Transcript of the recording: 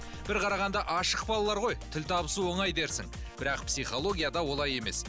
бір қарағанда ашық балалар ғой тіл табысу оңай дерсің бірақ писхологияда олай емес